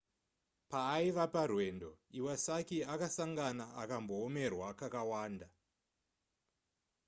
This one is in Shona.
paaiva parwendo iwasaki akasangana akamboomerwa kakawanda